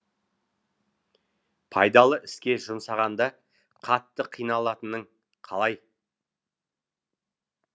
пайдалы іске жұмсағанда қатты қиналатының қалай